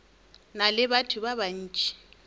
na le batho ba bantši